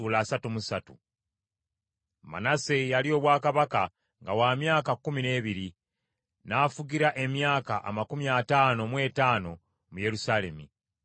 Manase yalya obwakabaka nga wa myaka kkumi n’ebiri, n’afugira emyaka amakumi ataano mu etaano mu Yerusaalemi.